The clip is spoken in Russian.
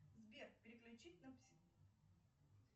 сбер переключить на